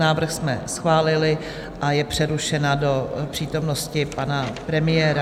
Návrh jsme schválili a je přerušena do přítomnosti pana premiéra.